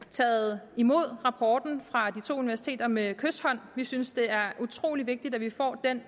taget imod rapporten fra de to universiteter med kyshånd vi synes det er utrolig vigtigt at vi får den